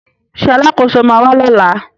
Ṣé Alákóso ma wà lọ́la?